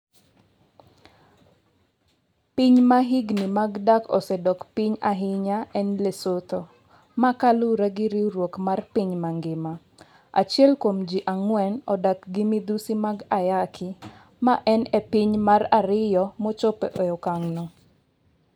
Piny ma higni mag dak osedok piny ahinya en Lesotho, ma kaluwore gi Riwruok mar piny mangima, achiel kuom ji ang'wen odak gi midhusi mag ayaki, maen e piny mar ariyo mochopo e okang' no.